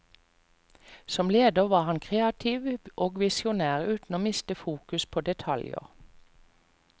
Som leder var han kreativ og visjonær uten å miste fokus på detaljer.